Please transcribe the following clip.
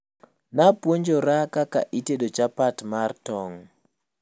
Napuonjora kaka itedo chapat mar tong'